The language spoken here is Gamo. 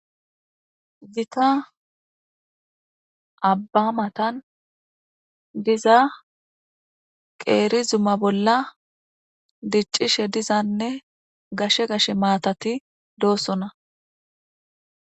Gita Abba matan diza qeri Zuma bolla dicishe dizane gashe gashe matati dosona